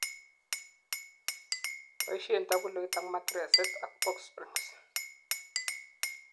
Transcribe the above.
boishen taguloit abmatiresit ak box springs